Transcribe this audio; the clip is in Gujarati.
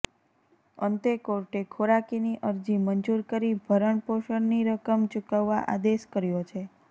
અંતે કોર્ટે ખોરાકીની અરજી મંજૂર કરી ભરણપોષણની રકમ ચુકવવા આદેશ કર્યો છે